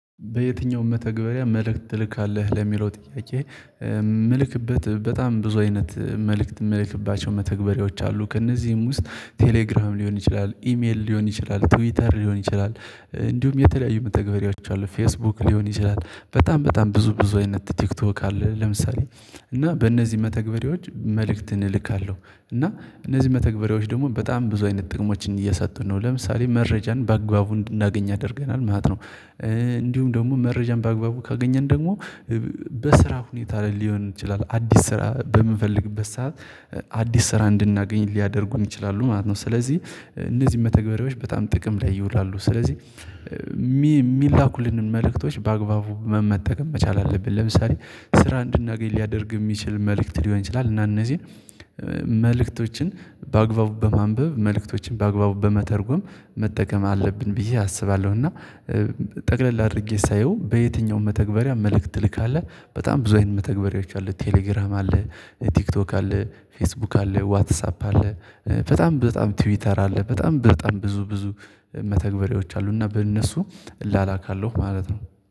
በየትኛውም መተግበሪያ መልእክት ትልካለህ ለሚለው ጥያቄ? የምልክበት በጣም ብዙ አይነት መልእክት የምልክባቸው መተግበሪያዎች አሉ ከእነዚህም ውስጥ ቴሌግራም ሊሆን ይችላል ኢሜል ሊሆን ይችላል ትዊተር ሊሆን ይችላል እንዲሁም የተለያዩ መተግበሪያዎች አሉ ፌስቡክ ሊሆን ይችላል በጣም በጣም ብዙ ብዙ አይነት ቲክቶክ አለ። ለምሳሌ እና በእነዚህ መተግበሪዎች መልእክትን እልካለሁ እና እነዚህ መተግበሪዎች ደግሞ በጣም ብዙ አይነት ጥቅሞችን እየሰጡን ነው ለምሳሌ መረጃን በአግባቡ እንድናገኝ ያደርገናል ማለት ነው። እንዲሁም ደግሞ መረጃን በአግባቡ ካገኘን ደግሞ በስራ ሁኔታ ላይ ሊሆን ይችላል አዲስ ስራ በምንፈልግበት ሰዓት ስራ እንድናገኝ ሊያደርጉኝ ይችላሉ ማለት ነው። ስለዚህ እነዚህ መተግበሪያዎች በጣም ጥቅም ላይ ይውላሉ ስለዚህ የሚላኩልንን መልእክቶች በአግባቡ መመጠቀም መቻል አለብን። ለምሳሌ ስራ እንድናገኝ ሊያደርግ የሚችል መልእክት ሊሆን ይችላል እና እነዚህን መልእክቶችን በአግባቡ በማንበብ መልእክቶችን በአግባቡ በመተርጎም መጠቀም አለብን ብዬ አስባለሁ። እና ጠቅለል አድርጌ ሳየው በየትኛውም መተግበሪያ መልእክት ትልካለህ በጣም ብዙ አይነት መተግበሪያዎች አሉ ቴሌግራም አለ። ቲክቶክ አለ ፌስቡክ አለ ዋትሳፕ አለ። በጣም ትዊተር አለ በጣም በጣም ብዙ ብዙ መተግበሪዎች አሉ እና በእነሱ እላላካለሁ ማለት ነው